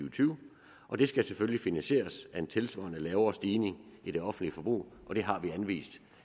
og tyve og det skal selvfølgelig finansieres af en tilsvarende lavere stigning i det offentlige forbrug og det har vi anvist